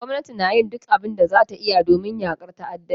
Gwamnati na yin duk abin da za ta iya domin yakar ta'addanci.